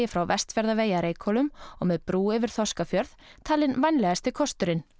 frá Vestfjarðavegi að Reykhólum og með brú yfir Þorskafjörð talin vænlegasti kosturinn